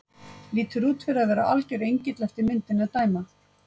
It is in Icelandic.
Lítur út fyrir að vera alger engill eftir myndinni að dæma.